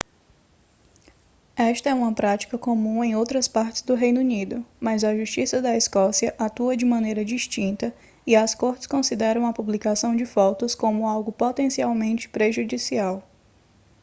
esta é uma prática comum em outras partes do reino unido mas a justiça da escócia atua de maneira distinta e as cortes consideram a publicação de fotos como algo potencialmente prejudicial